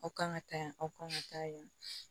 Aw kan ka taa yan aw kan ka taa yan